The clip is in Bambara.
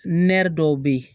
dɔw bɛ yen